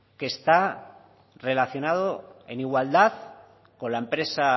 que está relacionado en igualdad con la empresa